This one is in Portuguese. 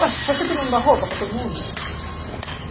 Ué, o prefeito não dá roupa para todo mundo?